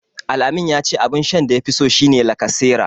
Al-amin ya ce abun shan da yafi so shi ne lacasera.